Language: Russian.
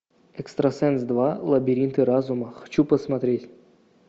экстрасенс два лабиринты разума хочу посмотреть